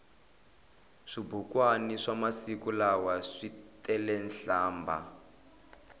swibukwani swamasiku lawa switelenhlambha